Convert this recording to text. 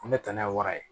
Ko ne tana ye wara ye